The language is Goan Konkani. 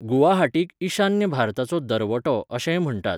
गुवाहाटीक 'ईशान्य भारताचो दरवटो' अशेंय म्हण्टात.